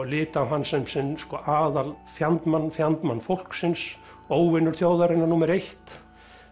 litu á hann sem sinn aðal fjandmann fjandmann fólksins óvinur þjóðarinnar númer eitt